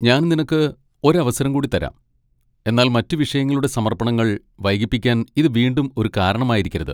ഞാൻ നിനക്ക് ഒരവസരം കൂടി തരാം, എന്നാൽ മറ്റ് വിഷയങ്ങളുടെ സമർപ്പണങ്ങൾ വൈകിപ്പിക്കാൻ ഇത് വീണ്ടും ഒരു കാരണമായിരിക്കരുത്.